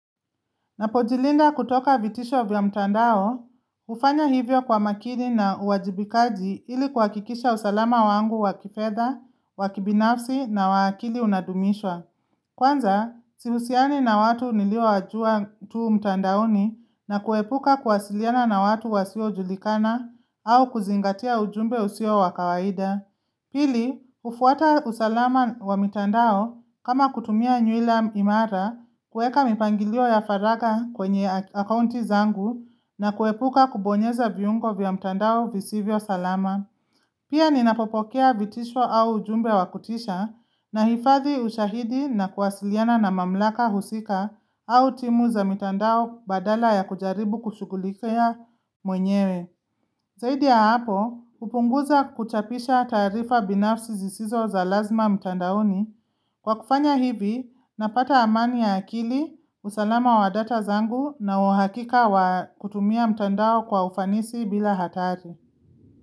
Ninapojilinda kutoka vitisho vya mtandao, hufanya hivyo kwa makini na uwajibikaji ili kuhakikisha usalama wangu wa kifedha, wa kibinafsi na wa kili unadumishwa. Kwanza, sihusiani na watu niliowawajua tu mtandaoni na kuhepuka kuwasiliana na watu wasiojulikana au kuzingatia ujumbe usio wa kawaida. Pili, hufuata usalama wa mitandao kama kutumia nywila imara, kuweka mipangilio ya faragha kwenye akaunti zangu na kuepuka kubonyeza viungo vya mitandao visivyo salama. Pia ninapopokea vitisho au jumbe wa kutisha, ninahifadhi ushahidi na kuwasiliana na mamlaka husika au timu za mitandao badala ya kujaribu kushughulikia mwenyewe. Zaidi ya hapo, kupunguza kuchapisha taarifa binafsi zisizo za lazima mtandaoni kwa kufanya hivi napata amani ya akili, usalama wa data zangu na uhakika wa kutumia mtandao kwa ufanisi bila hatari.